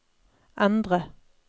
endre